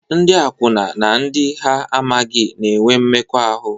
Ndị akwụna na ndị ha amaghị na-enwe mmekọahụ.